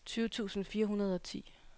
tyve tusind fire hundrede og ti